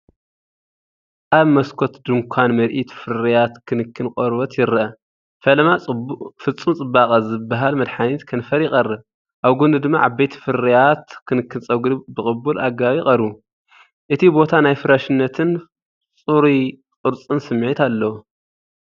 ኣብ መስኮት ድኳን ምርኢት ፍርያት ክንክን ቆርበት ይርአ። ፈለማ፡ “ፍጹም ጽባቐ” ዝበሃል መድሃኒት ከንፈር ይቐርብ፡ ኣብ ጎድኑ ድማ ዓበይቲ ፍርያት ክንክን ጸጉሪ ብቕቡል ኣገባብ ይቐርቡ። እቲ ቦታ ናይ ፍረሽነትን ጽሩይ ቅርጽን ስምዒት ኣለዎ።